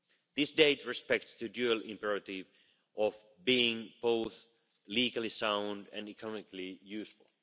This date respects the dual imperative of being both legally sound and economically useful.